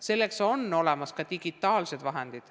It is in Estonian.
Selleks on olemas ka digitaalsed vahendid.